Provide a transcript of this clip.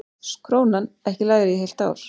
Krónan ekki lægri í heilt ár